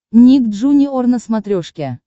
ник джуниор на смотрешке